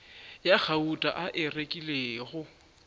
ya gauta a e rekilego